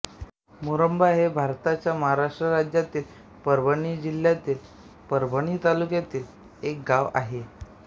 मुरुंबा हे भारताच्या महाराष्ट्र राज्यातील परभणी जिल्ह्यातील परभणी तालुक्यातील एक गाव आहे